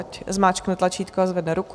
Ať zmáčkne tlačítko a zvedne ruku.